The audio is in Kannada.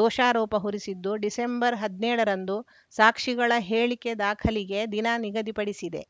ದೋಷಾರೋಪ ಹೊರಿಸಿದ್ದು ಡಿಸೆಂಬರ್ಹದ್ನೇಳ ರಂದು ಸಾಕ್ಷಿಗಳ ಹೇಳಿಕೆ ದಾಖಲಿಗೆ ದಿನ ನಿಗದಿಪಡಿಸಿದೆ